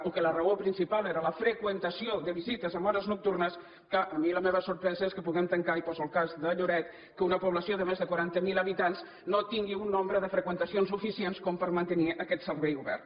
o que la raó principal era la freqüentació de visites en hores nocturnes que a mi la meva sorpresa és que puguem tancar i poso el cas de lloret que una població de més de quaranta mil habitants no tingui un nombre de freqüentacions suficients com per a mantenir aquest servei obert